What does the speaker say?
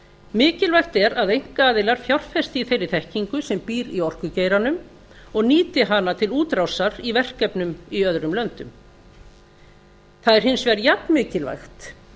mikilvægt er að einkaaðilar fjárfesta í þeirri þekkingu sem býr í orkugeiranum og nýti hana til útrásar í verkefnum í öðrum löndum það er hins vegar jafnmikilvægt